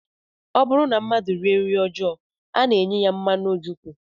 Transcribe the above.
Ọ bụrụ na mmadụ rie nri ọjọọ, a na-enye ya mmanụ ojukwu